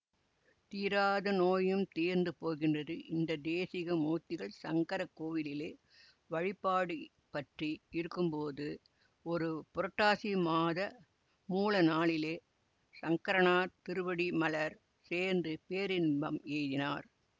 தீராத நோயும் தீர்ந்து போகின்றது இந்த தேசிக மூர்த்திகள் சங்கரக்கோவிலிலே வழிபாடியற்றி இருக்கும்போது ஒரு புரட்டாசி மாத மூல நாளிலே சங்கரனார் திருவடிமலர் சேர்ந்து பேரின்பம் எய்தினார்